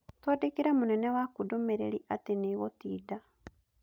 Twandĩkĩre mũnene waku ndũmĩrĩri atĩ nĩ ngũtinda.